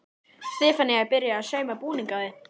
Stefanía er byrjuð að sauma búning á þig.